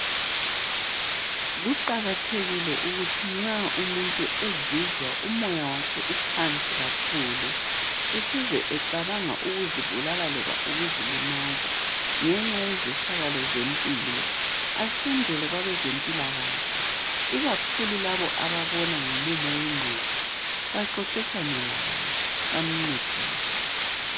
Kuqakathekile ukuthi nxa umuntu ezizwa umoya wakhe uphansi kakhulu Eseze ecabanga ukuzibulala, loba ukuzilimaza. Ngenxa yezehlakalo zempilo. Asondele kwabazempilakahle Ikakhulu labo, ababona ngomumo wengqondo. Baxoxisane laye. Bamncedise.